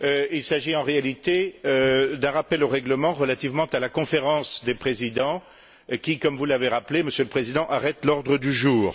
Il s'agit en réalité d'un rappel au règlement relativement à la Conférence des présidents qui, comme vous l'avez rappelé, Monsieur le Président, arrête l'ordre du jour.